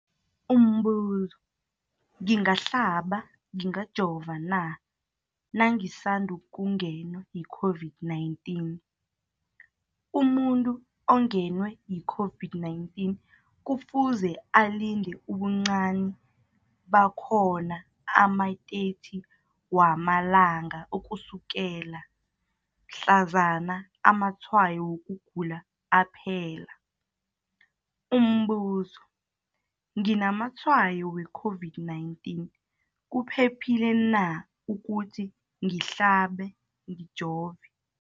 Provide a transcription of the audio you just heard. Umbuzo, ngingahlaba, ngingajova na nangisandu kungenwa yi-COVID-19? Umuntu ongenwe yi-COVID-19 kufuze alinde ubuncani bakhona ama-30 wama langa ukusukela mhlazana amatshayo wokugula aphela. Umbuzo, nginamatshayo we-COVID-19, kuphephile na ukuthi ngihlabe, ngijove?